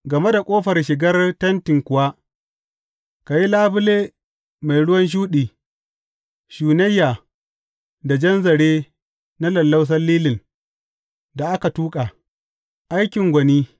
Game da ƙofar shigar tenti kuwa, ka yi labule mai ruwan shuɗi, shunayya da jan zare na lallausan lilin da aka tuƙa, aikin gwani.